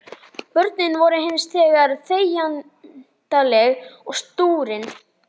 Börnin voru hins vegar þegjandaleg og stúrin.